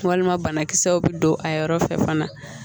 Walima banakisɛw bɛ don a yɔrɔ fɛ fana